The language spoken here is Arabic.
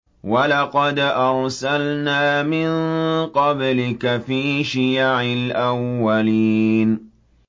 وَلَقَدْ أَرْسَلْنَا مِن قَبْلِكَ فِي شِيَعِ الْأَوَّلِينَ